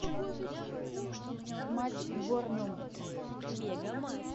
матч борнмут